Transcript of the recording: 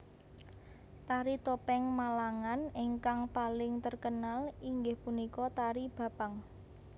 Tari topeng Malangan ingkang paling terkenal inggih punika tari Bapang